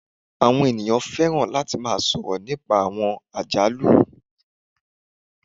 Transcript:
Àwọn ènìyàn fẹràn latí sọrọ nípá àwọn àjálù